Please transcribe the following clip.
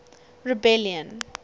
rebellion